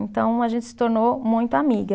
Então a gente se tornou muito amiga.